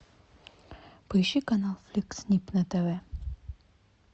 поищи канал фликс снип на тв